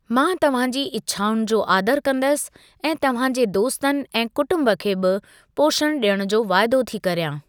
मां तव्‍हांजी इच्छाउनि जो आदरु कंदसि ऐं तव्‍हांजे दोस्‍तनि ऐं कुटुंब खे बि पोषणु ॾियण जो वाइदो थी करियां।